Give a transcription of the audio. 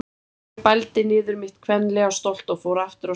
Ég bældi niður mitt kvenlega stolt og fór aftur á stjá.